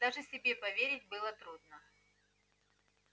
даже себе поверить было трудно